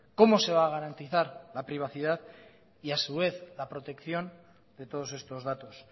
cómo se va a garantizar la privacidad y a su vez la protección de todos estos datos